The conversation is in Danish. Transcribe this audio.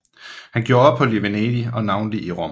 Han gjorde ophold i Venedig og navnlig i Rom